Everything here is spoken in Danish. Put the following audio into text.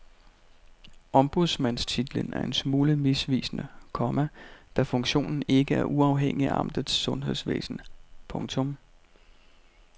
Ombudsmandstitlen er en smule misvisende, komma da funktionen ikke er uafhængig af amtets sundhedsvæsen. punktum